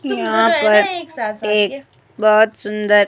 यहां पर एक बहुत सुंदर--